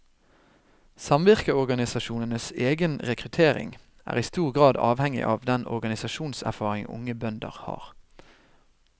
Samvirkeorganisasjonenes egen rekruttering er i stor grad avhengig av den organisasjonserfaring unge bønder har.